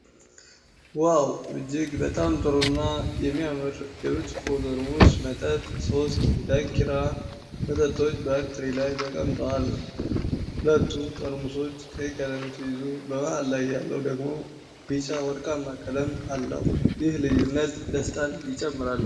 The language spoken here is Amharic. ዋው! እጅግ በጣም ጥሩ እና የሚያምር የብርጭቆ ጠርሙስ መጠጥ! ሦስት የዳንኪራ መጠጦች በአንድ ትሪ ላይ ተቀምጠዋል። ሁለቱ ጠርሙሶች ቀይ ቀለም ሲይዙ፣ በመሃል ያለው ደግሞ ቢጫ ወርቃማ ቀለም አለው፤ ይህም ልዩነት ደስታን ይጨምራል።